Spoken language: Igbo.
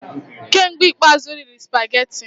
Kee mgbe ikpeazụ ị rịrị supageti?